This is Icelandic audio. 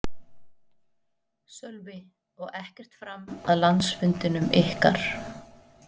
Sölvi: Og ekkert fram að landsfundinum ykkar?